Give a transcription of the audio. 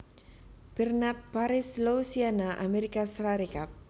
Bernard Parish Louisiana Amérika Sarékat